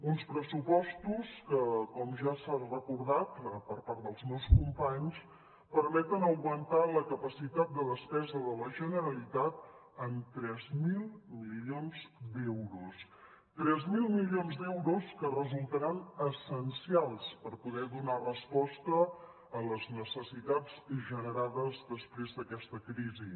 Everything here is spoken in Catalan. uns pressupostos que com ja s’ha recordat per part dels meus companys permeten augmentar la capacitat de despesa de la generalitat en tres mil milions d’euros tres mil milions d’euros que resultaran essencials per poder donar resposta a les necessitats generades després d’aquesta crisi